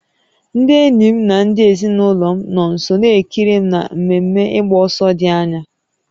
Ndị enyi m na ndị ezinụlọ m nọ nso na-ekiri m na mmemme ịgba ọsọ dị anya